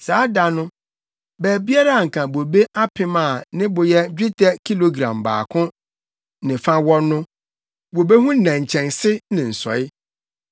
Saa da no, baabiara a na anka bobe apem a ne bo yɛ dwetɛ kilogram dubaako ne fa wɔ no, wobehu nnɛnkyɛnse ne nsɔe.